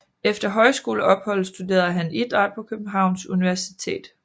Efter højskoleopholdet studerede han idræt på Københavns Universitet